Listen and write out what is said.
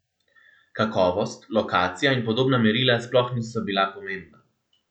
Kakovost, lokacija in podobna merila sploh niso bila pomembna.